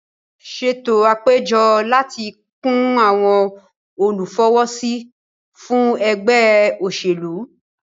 Ṣètò àpéjọ láti fi kún àwon olùfọwọ́sí fún ẹgbẹ́ òṣèlú